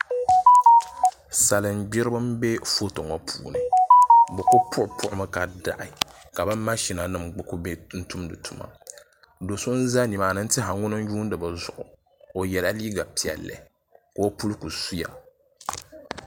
Salin gbiribi n bɛ foto ŋo puuni bi ku puɣu puɣu mi ka daɣi ka bi mashina nim kuli bɛ n tumdi tuma do so n ʒɛ nimaani n tiɛha ŋuni n yuundi bi zuɣu o yɛla liiga piɛlli ka o puli ku suya